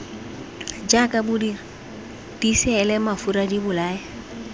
jaaka bodiri diseele mafura dibolaya